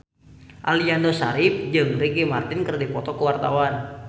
Aliando Syarif jeung Ricky Martin keur dipoto ku wartawan